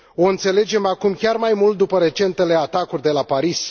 O înțelegem acum chiar mai mult după recentele atacuri de la Paris.